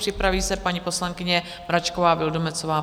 Připraví se paní poslankyně Mračková Vildumetzová.